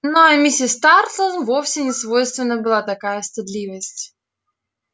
ну а миссис тарлтон вовсе не свойственна была такая стыдливость